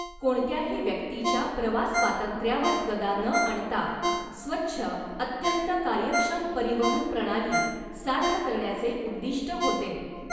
कोणत्याही व्यक्तीच्या प्रवास स्वातंत्र्यावर गदा न आणता स्वच्छ अत्यंत कार्यक्षम परिवहन प्रणाली साध्य करण्याचे उद्दीष्ट होते.